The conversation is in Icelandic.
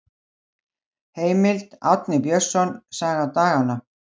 Heimild: Árni Björnsson, Saga daganna.